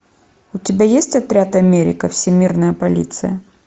у тебя есть отряд америка всемирная полиция